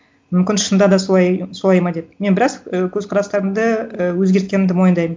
мүмкін шында да солай солай ма деп мен біраз і көзқарастарымды і өзгерткенімді мойындаймын